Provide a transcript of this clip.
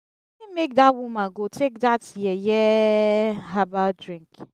wetin make dat woman go take that yeye herbal drink?